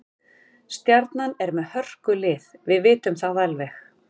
Stjarnan er með hörkulið, við vitum það alveg.